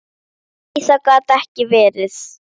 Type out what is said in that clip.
Verður heldur ekki vondur.